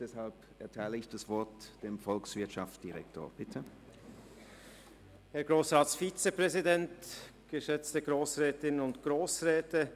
Deshalb erteile ich jetzt dem Volkswirtschaftsdirektor das Wort.